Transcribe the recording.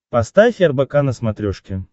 поставь рбк на смотрешке